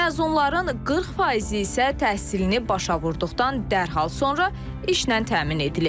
Məzunların 40%-i isə təhsilini başa vurduqdan dərhal sonra işlə təmin edilib.